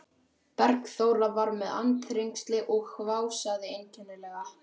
Bergþóra var með andþrengsli og hvásaði einkennilega.